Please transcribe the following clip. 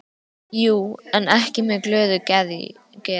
Jú, en ekki með glöðu geði.